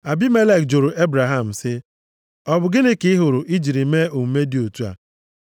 Abimelek jụrụ Ebraham sị, “Ọ bụ gịnị ka ị hụrụ i jiri mee omume dị otu a?”